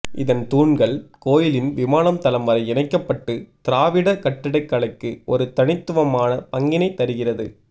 இதன் தூண்கள் கோயிலின் விமானம் தளம் வரை இணைக்கப்பட்டு திராவிட கட்டிடக்கலைக்கு ஒரு தனித்துவமான பங்கினை தருகிறது